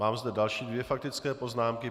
Mám zde další dvě faktické poznámky.